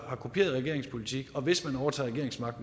har kopieret regeringens politik hvis man overtager